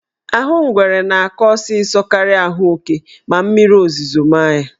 Ahụ ngwere na-akọ ọsịsọ karịa ahụ oke ma mmiri ozuzo maa ya.